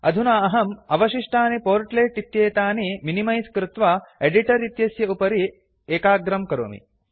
अधुना अहम् अवशिष्टानि पोर्ट्ल् इत्येतानि मिनिमैस् कृत्वा एडिटर् इत्यस्य उपरि एकाग्रं करोमि